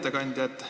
Hea ettekandja!